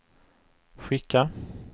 skicka